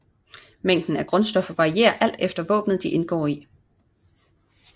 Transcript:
Mængden af grundstoffer varierer alt efter våbenet de indgår i